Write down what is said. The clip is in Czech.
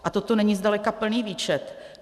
A toto není zdaleka plný výčet.